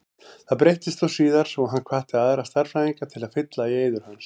Það breyttist þó síðar og hann hvatti aðra stærðfræðinga til að fylla í eyður hans.